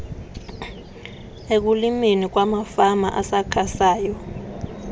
ekulimeni kwamafama asakhasayo